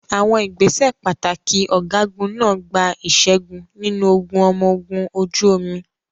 Àwọn ìgbésẹ̀ pàtàkì ọ̀gágun náà gba ìṣẹ́gun nínú ogun ọmọ ogun ojú omi.